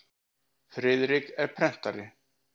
Friðrik er prentari.